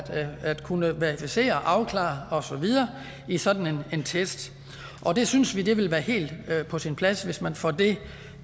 at kunne verificere afklare og så videre i sådan en test det synes vi ville være helt på sin plads hvis man får det